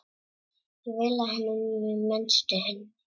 Ég miðlaði honum reynslu minni.